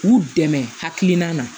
K'u dɛmɛ hakilina na